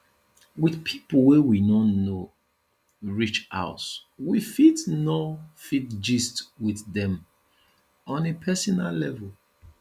with pipo wey we no know reach house we fit no fit gist with dem on a personal level